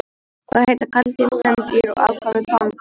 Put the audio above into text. Hvað heita karldýr, kvendýr og afkvæmi panda?